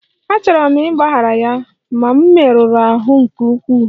Achọrọ m ịgbaghara ya, ma m merụrụ ahụ nke ukwuu